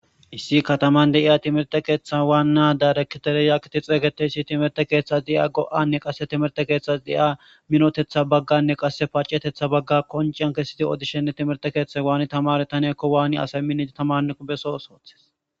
Issi kataman de iya timerte keeththa wan naa darekitereyakiti xeeygeteysi timerte keeththas diya go'anne qasse timerte keeththas diya minotetha bagganne qasse pacetetha bagga qonciyan kessiti odishenne timerte keeththa waani tamare taneekko waani asay mii tamanqo beso soothes.